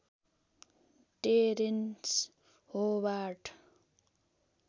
terrains Howard